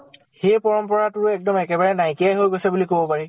সেই পৰম্পৰাটোৰ এক্দম একেবাৰে নাইকিয়া হৈ গৈছে বুলি কব পাৰি।